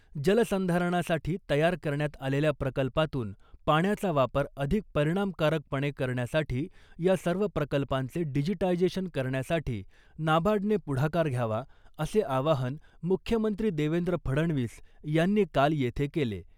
जलसंधारणासाठी तयार करण्यात आलेल्या प्रकल्पातून पाण्याचा वापर अधिक परिणामकारकपणे करण्यासाठी या सर्व प्रकल्पांचे डिजिटायजेशन करण्यासाठी नाबार्डने पुढाकार घ्यावा , असे आवाहन मुख्यमंत्री देवेंद्र फडणवीस यांनी काल येथे केले .